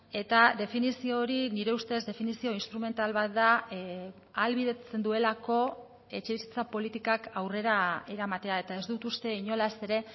eta definizio hori nire ustez definizio instrumental bat da ahalbidetzen duelako etxebizitza politikak aurrera eramatea eta ez dut uste inolaz ere